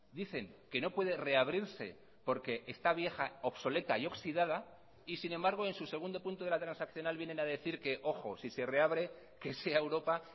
dicen que no puede reabrirse porque está vieja obsoleta y oxidada y sin embargo en su segundo punto de la transaccional vienen a decir que ojo si se reabre que sea europa